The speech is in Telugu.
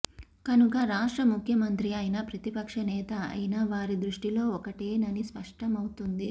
కనుక రాష్ట్ర ముఖ్యమంత్రి అయినా ప్రతిపక్ష నేత అయినా వారి దృష్టిలో ఒకటేనని స్పష్టమవుతోంది